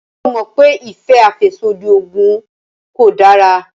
Ṣé o mọ̀ pé ìfẹ́ àfẹ́sódì oògùn kò dára?